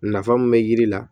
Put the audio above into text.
Nafa mun be yiri la